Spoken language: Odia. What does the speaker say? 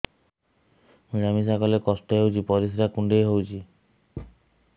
ମିଳା ମିଶା କଲେ କଷ୍ଟ ହେଉଚି ପରିସ୍ରା କୁଣ୍ଡେଇ ହଉଚି